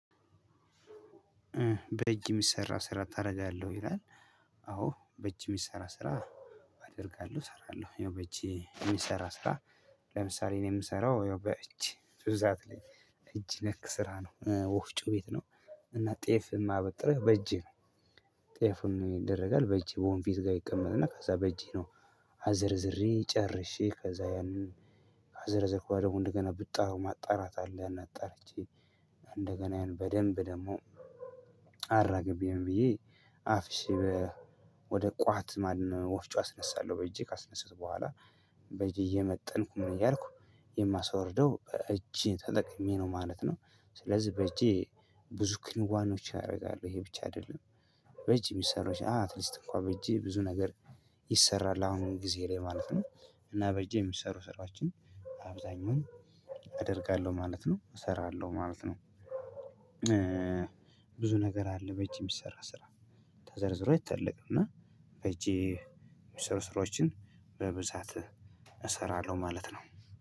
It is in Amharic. በእጅ የሚሰራ ስራ ታደርጋለህ ወይ ይላል? አዎ በእጅ የሚሰራ ስራ አደርጋለሁ እሰራለሁ ያው በእጄ የሚሰራ ስራ። ለምሳሌ እኔ የምሰራው ይኸው በእጄ ብዙ ሰዓት ላይ እጅ ነክ ስራ ነው ወፍጮ ቤት ነው። እና ጤፍ የማበጥርው በእጄ ነው። ጤፉን ይደረጋል በእጄ ወንፊቱ ጋር ይቀመጥና ከዛ በእጄ ነው። አዘርዝሬ ጨርሼ ከዛ ያንን ካዘረዘረኩ በኋላ እንደገና ብጣ ማጣራት አለ። እጣርቼ እንደገና ያንን በደንብ ደግሞ አራግቤ ምን ብዬ አፍሼ። ወደ ቋት ማነው ወፍጮ አስነሳለሁ በእጄ ካስነሳውት በኋላ በእጄ እየመጠንኩ ምን እያልኩ የማስወርደው እጄን ተጠቅሜ ነው ማለት ነው። ስለዚህ በእጄ ብዙ ክንዋኔዎች አረጋለሁ ይሄ ብቻ አይደለም። በእጅ የሚሰሩሽ አትሊስት እንኳን በእጄ ብዙ ነገር ይሰራል አሁን ጊዜ ላይ ማለት ነው። እና በእጄ የሚሰሩ ስራዎችን አብዛኛውን አደርጋለሁ ማለት ነው እሰራለሁ ማለት ነው። ብዙ ነገር አለ በእጅ የሚስራ ስራ። ተዘርዝሮ አይታለቅም እና በይእጄ የሚስሩ ስራዎችን በብዛት እሰራለሁ ማለት ነው።